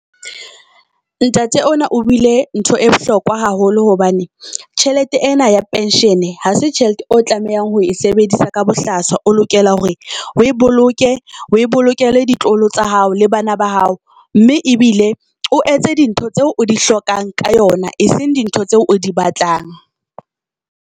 Ntate ona o buile ntho e bohlokwa haholo hobane tjhelete ena ya pension ha se tjhelete o tlamehang ho e sebedisa ka bohlaswa. O lokela hore o e boloke, o bolokele ditloholo tsa hao le bana ba hao. Mme ebile o etse dintho tseo o di hlokang ka yona, eseng dintho tseo o di batlang.